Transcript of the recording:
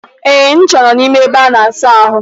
Eh, ncha nọ n'ime ebe a na-asa ahụ.